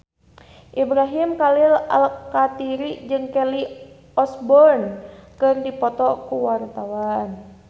Ibrahim Khalil Alkatiri jeung Kelly Osbourne keur dipoto ku wartawan